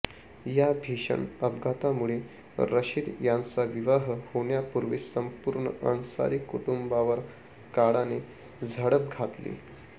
या भीषण अपघातामुळे रशीद याचा विवाह होण्यापूर्वीच संपूर्ण अन्सारी कुटुंबावर काळाने झडप घातली